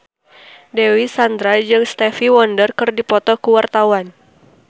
Dewi Sandra jeung Stevie Wonder keur dipoto ku wartawan